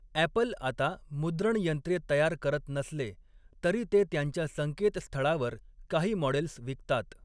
Apple आता मुद्रण यंत्रे तयार करत नसले तरी ते त्यांच्या संकेतस्थळावर काही मॉडेल्स विकतात.